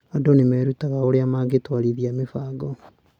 Andũ nĩ merutaga ũrĩa mangĩtwarithia mĩbango.